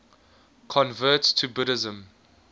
converts to buddhism